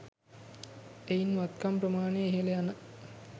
එයින් වත්කම් ප්‍රමාණය ඉහළ යන